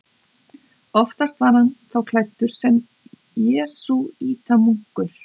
Oftast var hann þá klæddur sem jesúítamunkur.